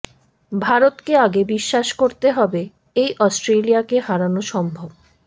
ভারতকে আগে বিশ্বাস করতে হবে এই অস্ট্রেলিয়াকে হারানো সম্ভব